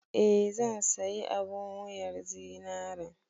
Eh, zan sayi abun wuyar zinaren.